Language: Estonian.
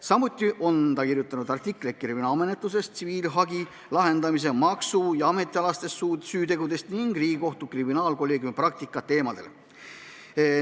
Samuti on ta kirjutanud artikleid kriminaalmenetluses tsiviilhagi lahendamisest, maksu- ja ametialastest süütegudest ning Riigikohtu kriminaalkolleegiumi praktikast.